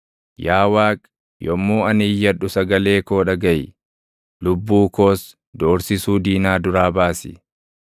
Yaa Waaqi, yommuu ani iyyadhu sagalee koo dhagaʼi; lubbuu koos doorsisuu diinaa duraa baasi.